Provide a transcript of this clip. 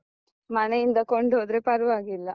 ಮನೆಯಿಂದ ಕೊಂಡು ಹೋದ್ರೆ ಪರ್ವಾಗಿಲ್ಲ.